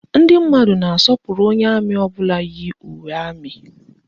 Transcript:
Ndị mmadụ na-asọpụrụ onye amị ọbụla yi uwe amị